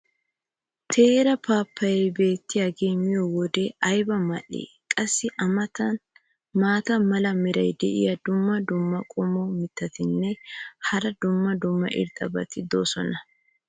Teera paappayee beettiyaagee miyoode ayba mal'ii? qassi a matankka maata mala meray diyo dumma dumma qommo mitattinne hara dumma dumma irxxabati de'oosona.